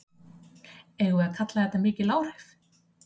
Eigum við að kalla þetta mikil áhrif?